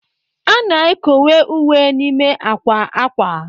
A na-ekowe uwe n'ime akwa akwa